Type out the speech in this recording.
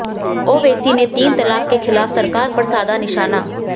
ओवैसी ने तीन तलाक के खिलाफ सरकार पर साधा निशाना